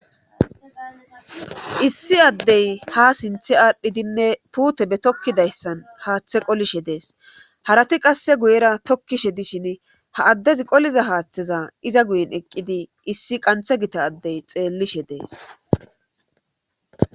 issi addey ha sinthe aadhdhidinne puute be tokkidayssan haaththe qolishe dees harati qasse guyera tokkishe dishin ha addezi qoliza haaththeza iza guyen eqqidi issi qanthe gita addey xeellishe dees